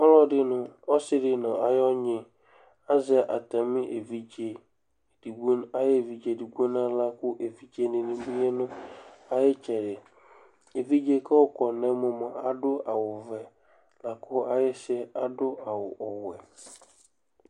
Ɔlɔdɩ nʋ ɔsɩ dɩ nʋ ayʋ ɔnyɩ azɛ atamɩ evidze edigbo ayʋ evdze edigbo nʋ aɣla la kʋ evidzenɩ bɩ nʋ ayʋ ɩtsɛdɩ Evidze yɛ kʋ ayɔkɔ nʋ ɛmɔ yɛ mʋa, adʋ awʋvɛ la kʋ ayɩsɩ yɛ adʋ awʋ ɔwɛ